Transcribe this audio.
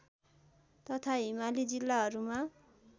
तथा हिमाली जिल्लाहरूमा